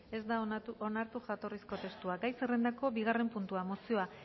ez da onartu jatorrizko testua gai zerrendako bigarren puntua mozioa